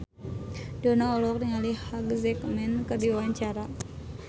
Dono olohok ningali Hugh Jackman keur diwawancara